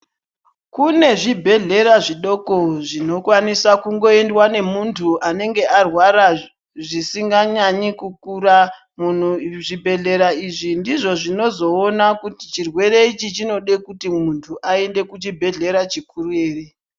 Kune zvibhedhlera zvidoko zvinokwanisa kungoendwa nemuntu anenge arwara zvisinganyanyi kukura. Zvibhedhlera izvi ndizvo zvinozoona kuti chirwere ichi chinode kuti muntu aende kuchibhedhlera chikuru ere.